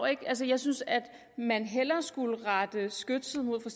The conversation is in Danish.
ikke altså jeg synes at man hellere skulle rette skytset mod for